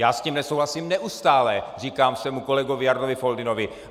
Já s tím nesouhlasím neustále, říkám svému kolegovi Jardovi Foldynovi.